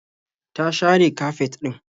Ta share kafet ɗin.